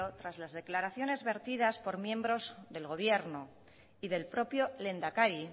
tras las declaraciones vertidas por miembros del gobierno y del propio lehendakari